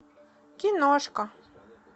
киношка